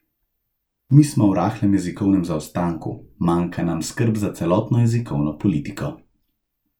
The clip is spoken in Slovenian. Mi smo v rahlem jezikovnem zaostanku, manjka nam skrb za celotno jezikovno politiko.